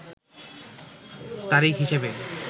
তারিখ হিসেবে